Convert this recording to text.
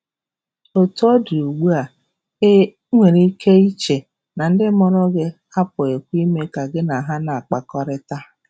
Otú ọ dị, ugbu a, i a, i nwere ike iche na ndị mụrụ gị apụghịkwa ime ka gị na ha na-akpakọrịta.